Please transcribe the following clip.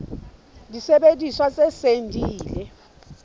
disebediswa tse seng di ile